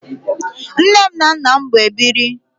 Nne m na nnam bụ ebiri